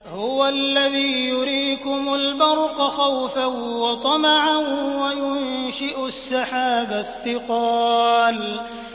هُوَ الَّذِي يُرِيكُمُ الْبَرْقَ خَوْفًا وَطَمَعًا وَيُنشِئُ السَّحَابَ الثِّقَالَ